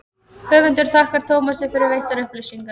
höfundur þakkar tómasi fyrir veittar upplýsingar